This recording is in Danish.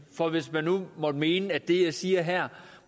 for hvis man nu måtte mene at det jeg siger her